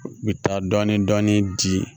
U bɛ taa dɔɔnin dɔɔnin di